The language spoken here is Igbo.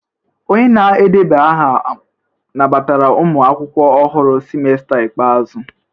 Onye na-edeba aha nabatara ụmụ akwụkwọ ọhụrụ semester ikpeazụ?